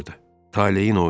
Taleyin oyunu idi.